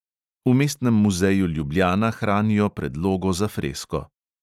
V mestnem muzeju ljubljana hranijo predlogo za fresko.